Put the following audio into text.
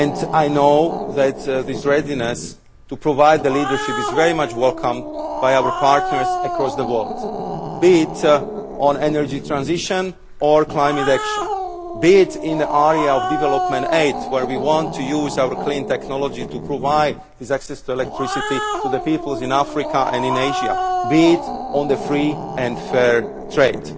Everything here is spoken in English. I know that this readiness to provide leadership is very much welcomed by our partners across the world, be it on energy transition or climate action, be it in the area of development aid, where we want to use our clean technology to provide access to electricity to the peoples in Africa and in Asia, or be it on free and fair trade.